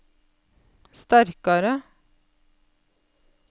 sterkare